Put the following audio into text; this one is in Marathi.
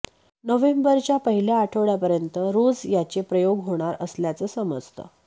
नोव्हेंबरच्या पहिल्या आठवड्यापर्यंत रोज याचे प्रयोग होणार असल्याचं समजतं